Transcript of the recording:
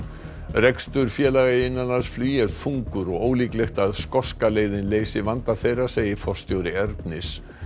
rekstur félaga í innanlandsflugi er þungur og ólíklegt að skoska leiðin leysi vanda þeirra segir forstjóri Ernis